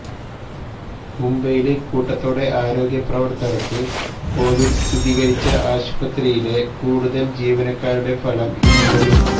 മുംബൈയില് കൂട്ടത്തോടെ ആരോഗ്യപ്രവര്ത്തകര്ക്ക് കൊവിഡ് സ്ഥിരീകരിച്ച ആശുപത്രിയിലെ കൂടുതല് ജീവനക്കാരുടെ ഫലം ഇന്നുവരും